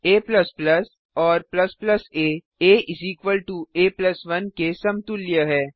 a और a आ आ 1 के समतुल्य हैं